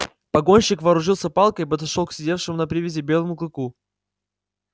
погонщик вооружился палкой и подошёл к сидевшему на привязи белому клыку